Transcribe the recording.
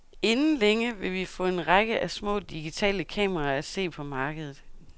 Inden længe vil vi få en række af små digitale kameraer at se på markedet.